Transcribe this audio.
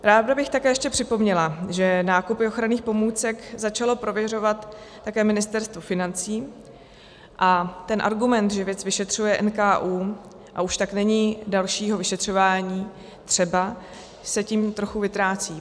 Ráda bych také ještě připomněla, že nákupy ochranných pomůcek začalo prověřovat také Ministerstvo financí a ten argument, že věc vyšetřuje NKÚ, a už tak není dalšího vyšetřování třeba, se tím trochu vytrácí.